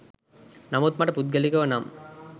නමුත් මට පුද්ගලිකව නම්